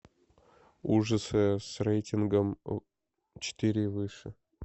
ужасы с рейтингом четыре и выше